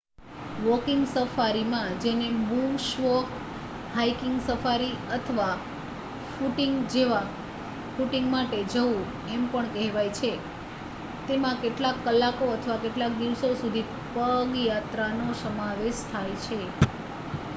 "Walking સફારીમાં જેને "bush walk" "hiking safari" અથવા "ફૂટિંગ" માટે જવું એમ પણ કહેવાય છે તેમાં કેટલાક કલાકો અથવા કેટલાક દિવસો સુધી પગ યાત્રાનો સમાવેશ થાય છે.